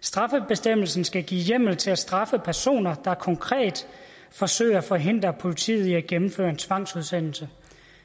straffebestemmelsen skal give hjemmel til at straffe personer der konkret forsøger at forhindre politiet i at gennemføre en tvangsudsendelse